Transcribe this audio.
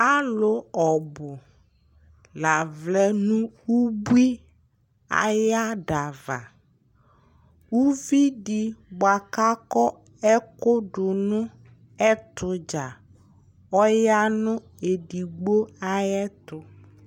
Alʋ ɔbʋ la vlɛ nʋ ubui ay'adava Uvidɩ bʋa k'akɔ ɛkʋ dʋ nʋ ɛtʋdzaa ɔya nʋ edigbo ayɛtʋ